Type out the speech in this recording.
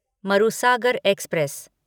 Marusagar express